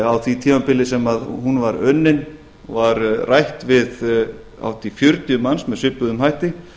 á því tímabili sem hún var unnin var rætt við hátt í fjörutíu manns sem svipuðum hætti